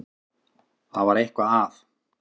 Það var eitthvað að.